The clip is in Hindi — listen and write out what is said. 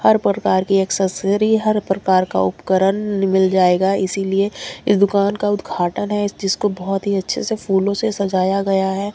हर प्रकार की एक्सेसरी हर प्रकार का उपकरण मिल जाएगा इसीलिए इस दुकान का उद्घाटन है जिसको बहोत ही अच्छे से फूलों से सजाया गया है।